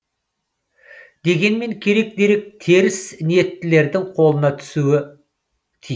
дегенмен керек дерек теріс ниеттілердің қолына түспеуі тиіс